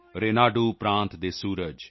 ਰੇਨਾਡੂ ਪ੍ਰਾਂਤ ਦੇ ਸੂਰਜ